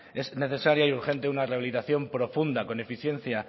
es necesario y urgente una rehabilitación profunda con eficiencia